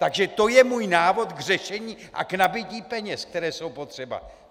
Takže to je můj návod k řešení a k nabytí peněz, které jsou potřeba.